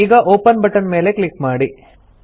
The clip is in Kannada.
ಈಗ ಒಪೆನ್ ಬಟನ್ ಮೇಲೆ ಕ್ಲಿಕ್ ಮಾಡಿ